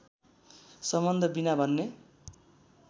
सम्बन्ध विना भन्ने